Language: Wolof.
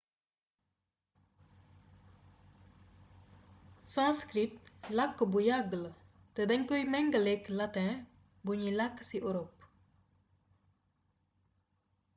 sanskrit làkk bu yàgg la te dañ koy méngaléek lateŋ buñuy làkk ci orop